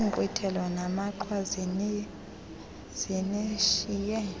inkqwithelo namaqhwa zinishiye